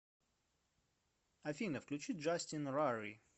афина включи джастин рарри